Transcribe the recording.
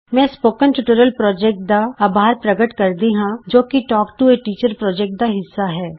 ਮੈਂ spoken tutorial project ਦਾ ਅਭਾਰ ਪ੍ਰਕਟ ਕਰਦੀ ਹਾਂ ਜੋ ਕਿ talk to a teacher project ਦਾ ਹਿੱਸਾ ਹੈ